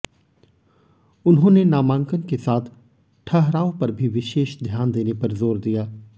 उन्होंने नामांकन के साथ ठहराव पर भी विशेष ध्यान देने पर जोर दिया